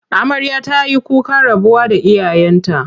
Amarya ta yi kukan rabuwa da iyayenta.